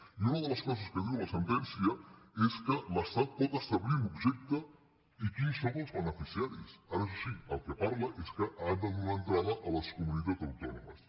i una de les coses que diu la sentència és que l’estat pot establir l’objecte i quins en són els bene·ficiaris ara això sí del que parla és que ha de donar entrada a les comunitats autònomes